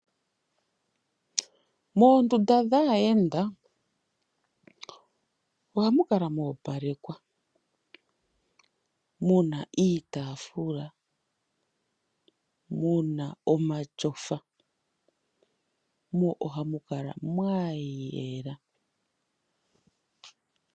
Moondunda dhaayenda ohamu kala mwa opalekwa muna iitaafula, muna omatyofa mo ohamukala mwayela .